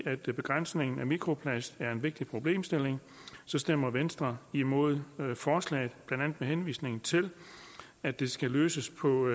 at begrænsningen af mikroplast er en vigtig problemstilling stemmer venstre imod forslaget blandt andet med henvisning til at det skal løses på